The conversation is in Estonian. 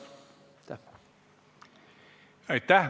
Aitäh!